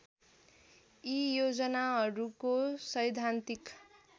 यी योजनाहरूको सैद्धान्तिक